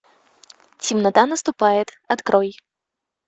темнота наступает открой